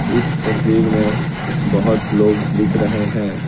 इस तस्वीर में बहुत लोग दिख रहे हैं।